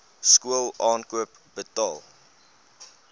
skool aankoop betaal